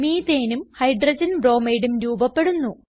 Methaneഉം Hydrogen bromideഉം രൂപപെടുന്നു